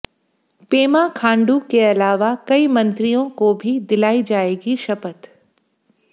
पेमा खांडू के अलावा कई मंत्रियों को भी दिलाई जाएगी शपथ